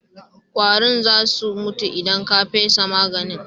Ƙwarin za su mutu idan ka fesa maganin.